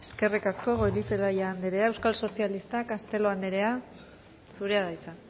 eskerrik asko goirizelaia andrea euskal sozialistak castelo andrea zurea da hitza